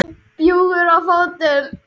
Bjúgur á fótum.